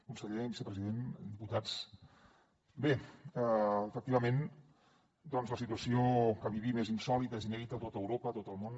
conseller vicepresident diputats bé efectivament la situació que vivim és insòlita és inèdita a tot europa a tot el món